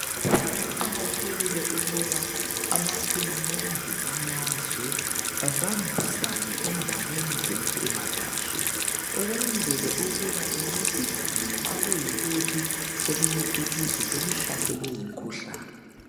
Kuqakathekile ukuba amahulumende amazwe ebambisane endaweni zempilakahle ukwenzela ukuba ancedisane ma kuyikuthi elinye ilizwe selihlaselwe yimkhuhlane.